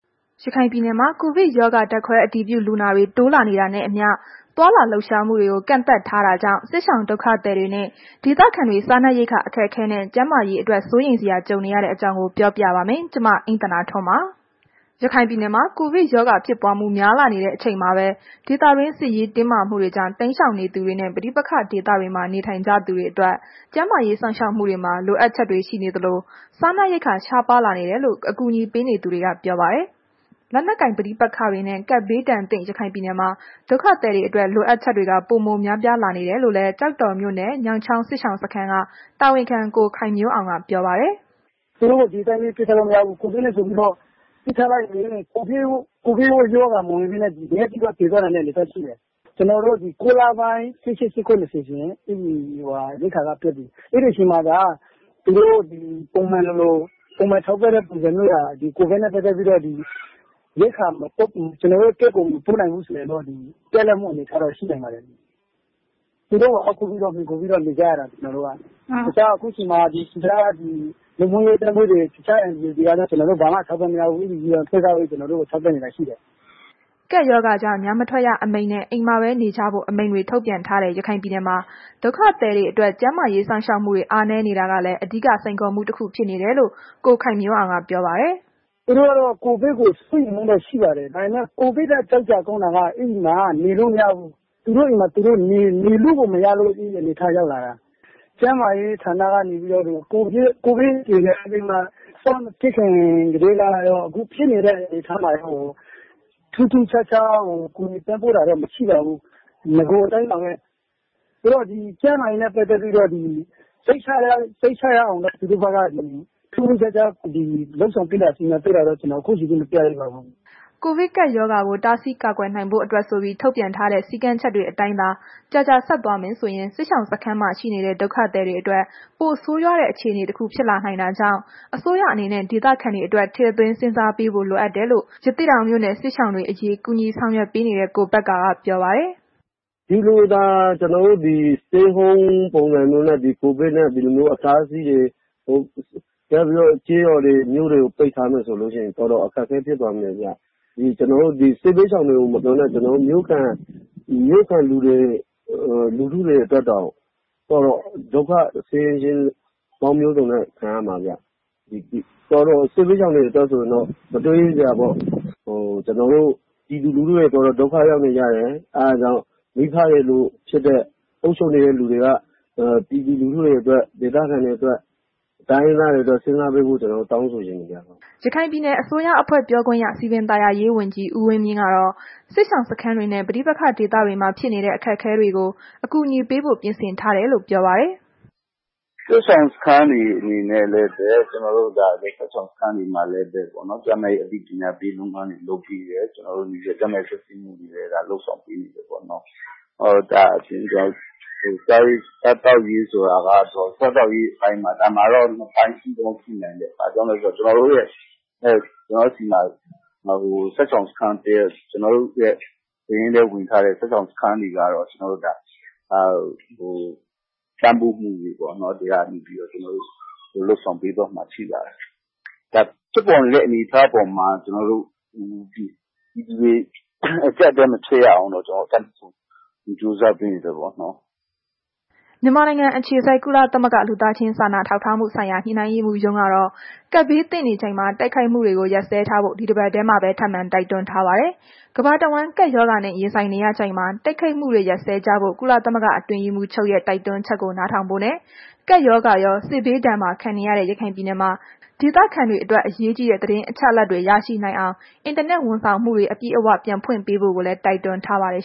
ရခိုင်ပြည်နယ်မှာ ကိုဗစ်ရောဂါ ဓာတ်ခွဲအတည်ပြုလူနာတွေ တိုးလာနေတာနဲ့အမျှ သွားလာလှုပ်ရှားမှုတွေကို ကန့်သတ်ထားတာကြောင့် စစ်ရှောင်ဒုက္ခသည်တွေနဲ့ ဒေသခံတွေ စားနပ်ရိက္ခာ အခက်အခဲနဲ့ ကျန်းမာရေးအတွက် စိုးရိမ်စရာ ကြုံနေရတဲ့အကြောင်း ပြောပြပါမယ်။ ဗွီအိုအေမြန်မာပိုင်းသတင်းထောက် မအိမ့်သန္တာထွန်းက သတင်းပေးပို့ထားပါတယ်။ ရခိုင်ပြည်နယ်မှာ ကိုဗစ်ရောဂါဖြစ်ပွားမှု များလာနေတဲ့ အချိန်မှာပဲ ဒေသတွင်း စစ်ရေးတင်းမာမှုတွေကြောင့် တိမ်းရှောင်နေသူတွေနဲ့ ပဋိပက္ခဒေသတွေမှာ နေထိုင်ကြသူတွေအတွက် ကျန်းမာရေး စောင့်ရှောက်မှုတွေမှာ လိုအပ်ချက်တွေ ရှိနေသလို၊ စားနပ်ရိက္ခာ ရှားပါးလာနေတယ်လို့ အကူအညီပေးနေသူတွေက ပြောပါတယ်။ လက်နက်ကိုင်ပဋိပက္ခတွေနဲ့ ကပ်ဘေးဒဏ်သင့် ရခိုင်ပြည်နယ်မှာ ဒုက္ခသည်တွေအတွက် လိုအပ်ချက်တွေက ပိုများလာနေတယ်လို့လည်း ကျောက်တော်မြို့နယ် ညောင်ချောင်းစစ်ရှောင်စခန်းက တာဝန်ခံ ကိုခိုင်မျိုးအောင်က ပြောပါတယ်။ “သူတို့ကို ဒီအတိုင်းပဲ ပစ်ထားလိုက်လို့ မရဘူး။ ကိုဗစ်နဲ့ဆိုပြီးတော့၊ ပစ်ထားလိုက်ရင် ကိုဗစ်ရောဂါ မဝင်ဘဲနဲ့ ငတ်ပြီးတော့ သေသွားနိုင်တဲ့ အနေအထားရှိတယ်။ ကျနော်တို့မှာ ဒီ ၉ လပိုင်း ၁၈၊ ၁၉၊ ၂၀ ဆိုရင် ရှိတဲ့ ရိက္ခာက ပြတ်ပြီ။ အဲ့ဒီအချိန်မှာသာ သူတို့ ပုံမှန်လို ထောက်ပံ့တဲ့ပုံစံမျိုး ကိုဗစ်နဲ့ ပတ်သက်လို့သာ ရိက္ခာကို ကျနော်တို့ Camp ကို မပို့နိုင်ဘူးဆိုရင်တော့ ပြတ်လပ်မှု အနေအထားရှိနိုင်ပါတယ်။ သူတို့ကို အားကိုးပြီး မှီခိုပြီးနေကြရတာကို ကျနော်တို့က တခြား ကျနော်တို့ဆီမှာ တခြားဒီ လူမှုရေးအသင်းအဖွဲ့တွေ NGO တွေကလည်း ကျနော်တို့ ဘာမှ အထောက်အပံ့မရဘူး။ ဒီ UN အဖွဲ့ ကပဲ ကျနော်တို့ကို ထောက်ပံ့နေတာရှိတယ်။” ကပ်ရောဂါကြောင့် ညမထွက်ရအမိန့်နဲ့ နေအိမ်မှာပဲ နေကြဖို့ အမိန့်တွေ ထုတ်ပြန်ထားတဲ့ ရခိုင်ပြည်နယ်မှာ ဒုက္ခသည်တွေအတွက် ကျန်းမာရေး စောင့်ရှောက်မှုတွေ အားနည်းနေတာကလည်း အဓိကစိန်ခေါ် တခုဖြစ်နေတယ်လို့ ကိုခိုင်မျိုးအောင်ကပြောပါတယ်။ “သူတို့ကတော့ ကိုဗစ်ကို စိုးရိမ်မှုတော့ရှိပါတယ်။ ဒါပေမဲ့ ကိုဗစ်ထက် ကြောက်စရာကောင်းတာက အဲ့ဒီမှာ(သူတို့ရပ်ရွာအတွင်း) နေလို့မရဘူး။ သူတို့အိမ်မှာ သူတို့ နေလို့ကို မရတဲ့ အနေအထားရောက် လာတာ။ ကျန်းမာရေးဌာနက နေပြီးတော့ ကိုဗစ်ကြေညာပြီးမှ စမဖြစ်ခင်ကတည်းရော ခုဖြစ်ပြီးမှရော ထူးထူးခြားခြားကူညီပံ့ပိုးတာတော့ မရှိပါဘူး။ နဂိုအတိုင်းပါဘဲ။ ဆိုတော့ ကျန်းမာရေးနှင့် ပတ်သက်ပြီးတော့ စိတ်ချရအောင်တော့သူတို့ဘက်က ထူးထူးခြားခြား ကူညီလုပ်ကိုင်ပေးနေတာမျိုး ခုအချိန်ထိတော့ ကျနော်တို့မတွေ့ရသေးပါဘူး။” ကိုဗစ်ရောဂါကို တားဆီးကာကွယ်နိုင်ဖို့အတွက်ဆိုပြီး ထုတ်ပြန်ထားတဲ့ စည်းကမ်းချက်တွေအတိုင်းသာ ကြာကြာဆက်သွားမယ်ဆိုရင် စစ်ရှောင်စခန်းမှာရှိနေတဲ့ ဒုက္ခသည်တွေအတွက် ပိုပြီးဆိုးရွားတဲ့ အခြေအနေတွေ ဖြစ်လာနိုင်တာကြောင့် အစိုးရအနေနဲ့ ဒေသခံတွေအတွက် ထည့်သွင်းစဉ်းစားပေးဖို့ လိုတယ်လို့ ရသေ့တောင်မြို့က စစ်ရှောင်တွေအရေး ကူညီပေးနေတဲ့ ကိုဘက္ကာက ပြောပါတယ်။ “ဒီလိုသာ ကျနော်တို့ Stay Home ပုံစံမျိုးနဲ့ ကိုဗစ်အတားအဆီးတွေ နောက်ပြီး ကျေးရွာတွေမြို့တွေကို ပိတ်ထားမယ်ဆိုရင် တော်တော်အခက်အခဲဖြစ်သွားမယ်ဗျ။ စစ်ဘေးရှောင်တွေကို မပြောနဲ့ မြို့ခံလူထုတွေအတွက်တောင် တော်တော် ဒုက္ခဆင်းရဲမျိုးစုံခံရမှဗျ။ စစ်ဘေးရှောင်တွေအတွက်ဆိုရင် တော့ မတွေးရဲစရာပေါ့။ ကျနော်တို့ ပြည်သူလူထုတွေ ဒုက္ခရောက်နေကြတယ်။ အဲ့ဒါကြောင့် မိဘတွေလိုဖြစ်တဲ့ အုပ်ချုပ်နေတဲ့လူတွေက ကျနော်တို့ ပြည်သူလူထုတွေအတွက် ဒေသခံတွေအတွက် တိုင်းရင်းသားတွေအတွက် စဉ်းစားပေးဖို့ ကျနော် တောင်းဆိုချင်တယ်ဗျ။” ရခိုင်ပြည်နယ်အစိုးရအဖွဲ့ ပြောခွင့်ရ စည်ပင်သာယာရေးဝန်ကြီး ဦးဝင်းမြင့်ကတော့ စစ်ရှောင်စခန်းတွေနဲ့ ပဋိပက္ခဒေသတွေမှာဖြစ်နေတဲ့ အခက်အခဲတွေကို အကူအညီပေးဖို့ ပြင်ဆင်ထားတယ်လို့ ပြောပါတယ်။ “စစ်ရှောင်စခန်းတွေအနေနဲ့လည်းပဲ ဒီစစ်ရှောင်စခန်းတွေမှာ ကျန်းမာရေးအသိပညာပေးလုပ်ငန်းတွေ လုပ်ပေးတယ်။ ကျန်းမာရေး စစ်ဆေးမှုတွေလည်း လုပ်ဆောင်ပေးနေတယ်ပေါ့နှော်။ စားသောက်ရေး အပိုင်းမှာကျတော့ ဒီမှာတော့ နှစ်ပိုင်းရှိနိုင်တယ်။ အဲ့ဒါကကျနော်တို့ဆီမှာ စစ်ရှောင်စခန်းက ကျနော်တို့ရဲ့ စာရင်းထဲဝင်ထားတဲ့ စစ်ရှောင်စခန်းတွေကတော့ ကျနော်တို့ ပံ့ပိုးမှုကို ကျနော်တို့ လုပ်ဆောင်ပေးသွားဖို့ရှိပါတယ်။ ဒါက ဖြစ်ပေါ်နေတဲ့ အနေအထားအပေါ်မှာ ကျနော်တို့ ပြည်သူတွေ အကြပ်အတည်း မဖြစ်ရအောင်တော့ တတ်နိုင်သမျှကြိုးစားပေးနေတယ်ပေါ့နော်။” မြန်မာနိုင်ငံအခြေစိုက် ကုလသမဂ္ဂ လူသားချင်းစာနာထောက်ထားမှုဆိုင်ရာ ညှိနှိုင်းရေးမှူးရုံးကတော့ ကပ်ဘေးသင့်နေချိန် တိုက်ခိုက်မှုတွေ ရပ်စဲဖို့ ဒီတပတ်ထဲမှာပဲ ထပ်မံတိုက်တွန်းထားပါတယ်။ ကမ္ဘာတဝန်း ကပ်ရောဂါနဲ့ ရင်ဆိုင်နေရချိန်မှာ တိုက်ခိုက်မှုတွေ ရပ်စဲကြဖို့ ကုလသမဂ္ဂ အတွင်းရေးမှူးချုပ်ရဲ့ တိုက်တွန်းချက်ကို နားထောင်ဖို့နဲ့ ကပ်ရောဂါရော စစ်ဘေးဒဏ်ပါခံနေရတဲ့ ရခိုင်ပြည်နယ်မှာ ဒေသခံတွေ အရေးကြီးတဲ့ သတင်းအချက်အလက်တွေ ရရှိနိုင်အောင် အင်တာနက်ဝန်ဆောင်မှုတွေ အပြည့်အ၀ ပြန်ဖွင့်ပေးဖို့လည်း တိုက်တွန်းထားပါတယ်